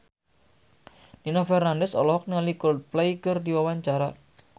Nino Fernandez olohok ningali Coldplay keur diwawancara